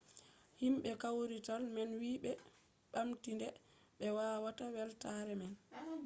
himɓe kawrital man wi ɓe ɓamti nde be waɗata weltaare man